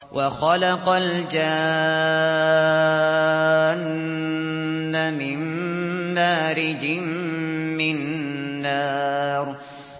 وَخَلَقَ الْجَانَّ مِن مَّارِجٍ مِّن نَّارٍ